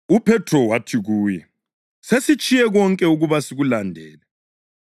UPhethro wathi kuye, “Sesitshiye konke ukuba sikulandele!”